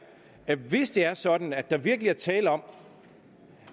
at hvis det er sådan at der virkelig er tale om